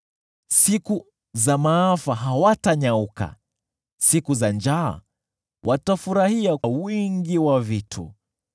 Siku za maafa hawatanyauka, siku za njaa watafurahia wingi wa vitu.